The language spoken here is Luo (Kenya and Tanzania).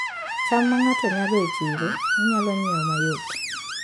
cham ma ng'ato nyago e chiro, inyalo ng'iewo mayot